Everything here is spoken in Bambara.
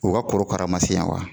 U ka korokara ma se yan wa?